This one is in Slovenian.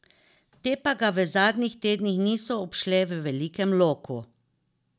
Te pa ga v zadnjih tednih niso obšle v velikem loku.